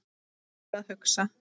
Og fer að hugsa